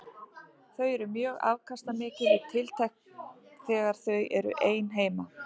Þau eru mjög afkastamikil í tiltekt þegar þau eru ein heima.